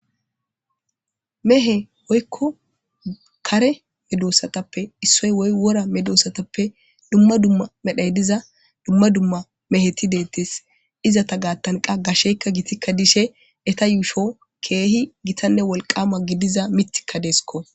Mehe oykko kare medoossatappe issoy woy wora medoossatappe dumma dumma medhay diza dumma dumma meheti deettes izata gaattanqa gasheykka gitikka dishe eta yuusho keehi gitanne wolqama gidiza mitikka deesko.